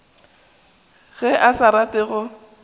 ge a sa rate go